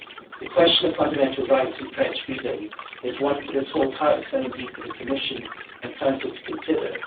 The question of fundamental rights and press freedom is one for this whole House and indeed for the Commission and Council to consider.